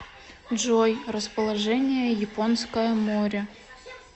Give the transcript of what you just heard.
джой расположение японское море